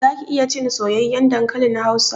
Zaki iya cin soyayyen dankalin hausa?